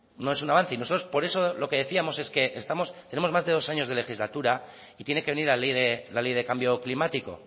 no es un avance nosotros por eso decíamos que tenemos más de dos años de legislatura y tiene que venir la ley de cambio climático